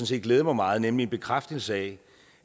set glæder mig meget nemlig en bekræftelse af